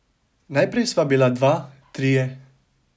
Najprej sva bila dva, trije ...